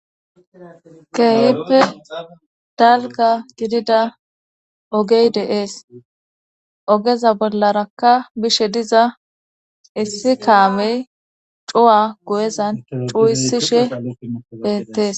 keehippe dalga gidida ogey de'ees ogeza bollarakka bishe diza issi kaamey cuwa guyezan cuuisishe beettees